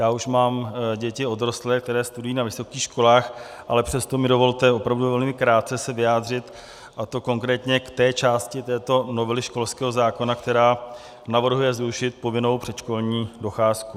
Já už mám děti odrostlé, které studují na vysokých školách, ale přesto mi dovolte opravdu velmi krátce se vyjádřit, a to konkrétně k té části této novely školského zákona, která navrhuje zrušit povinnou předškolní docházku.